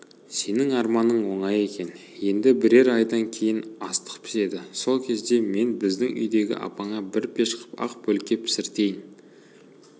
сенің арманың оңай екен енді бірер айдан кейін астық піседі сол кезде мен біздің үйдегі апаңа бір пеш қып ақ бөлке пісіртейін